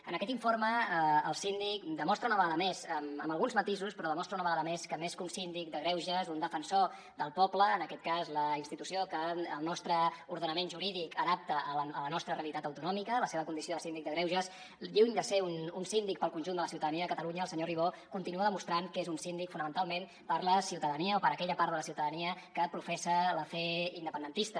en aquest informe el síndic demostra una vegada més amb alguns matisos però demostra una vegada més que més que un síndic de greuges un defensor del poble en aquest cas la institució que el nostre ordenament jurídic adapta a la nostra realitat autonòmica la seva condició de síndic de greuges lluny de ser un síndic pel conjunt de la ciutadania de catalunya el senyor ribó continua demostrant que és un síndic fonamentalment per la ciutadania o per aquella part de la ciutadania que professa la fe independentista